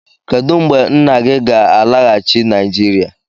Kedu mgbe nna gị ga-alaghachi Naịjirịa?